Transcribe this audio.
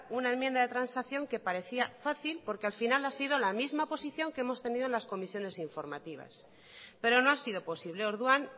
una enmienda de transacción que parecía fácil porque al final ha sido la misma posición que hemos tenido en las comisiones informativas pero no ha sido posible orduan